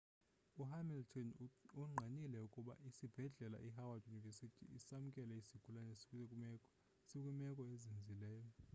u-hamilton ungqinile ukuba isibhedlela i howard university samkele isigulane sikwimeko ezinzileyo